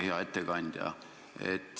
Hea ettekandja!